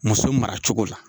Muso mara cogo la.